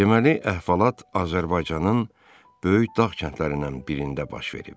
Deməli, əhvalat Azərbaycanın böyük dağ kəndlərindən birində baş verib.